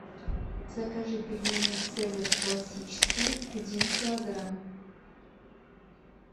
закажи пельмени цезарь классические один килограмм